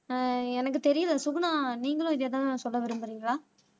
ஆஹ் எனக்கு தெரியலே சுகுணா நீங்களும் இதேதான் சொல்ல விரும்புறீங்களா